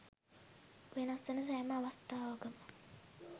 වෙනස් වන සෑම අවස්ථාවකම